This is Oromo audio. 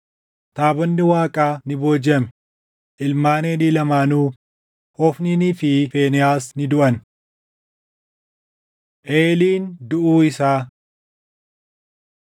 Taabonni Waaqaa ni boojiʼame; ilmaan Eelii lamaanuu Hofniinii fi Fiinehaas ni duʼan. Eeliin Duʼuu Isaa